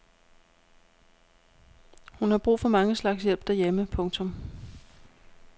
Hun har brug for mange slags hjælp derhjemme. punktum